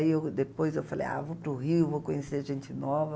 Aí eu, depois eu falei, ah, vou para o Rio, vou conhecer gente nova.